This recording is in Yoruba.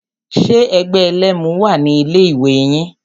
Ṣe ẹgbẹ́ ẹlẹ́mu wà ní ilé ìwé yín?